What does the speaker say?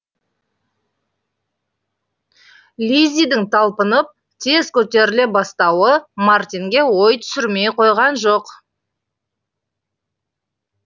лиззидің талпынып тез көтеріле бастауы мартинге ой түсірмей қойған жоқ